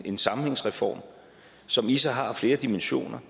en sammenhængsreform som i sig har flere dimensioner